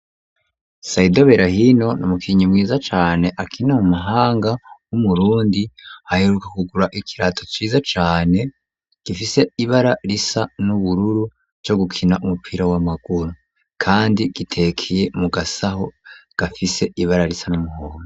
Saido berahino n’umukinyi mwiza cane akina mu mahanga w'umurundi, aheruka kugura ikirato ciza cane gifise ibara risa n'ubururu co gukina umupira w'amaguru kandi gitekeye mu gasaho gafise ibara risa n'umuhondo.